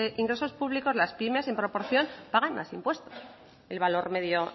ingresos públicos las pymes en proporción pagan más impuestos el valor medio